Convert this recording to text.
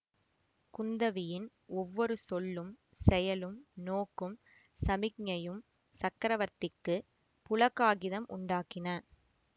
குந்தவியின் ஒவ்வொரு சொல்லும் செயலும் நோக்கும் சமிக்ஞையும் சக்கரவர்த்திக்குப் புளகாகிதம் உண்டாக்கின